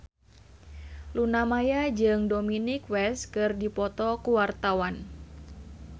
Luna Maya jeung Dominic West keur dipoto ku wartawan